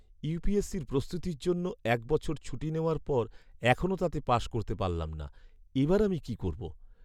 ইউপিএসসির প্রস্তুতির জন্য এক বছর ছুটি নেওয়ার পর এখনও তাতে পাশ করতে পারলাম না। এবার আমি কি করবো?